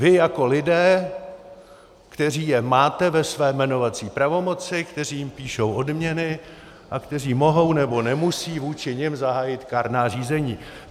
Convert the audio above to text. Vy jako lidé, kteří je máte ve své jmenovací pravomoci, kteří jim píšou odměny a kteří mohou nebo nemusí vůči nim zahájit kárná řízení.